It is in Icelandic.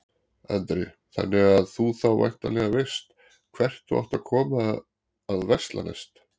Andri: Þannig að þú þá væntanlega veist hvert þú átt að koma að versla næst?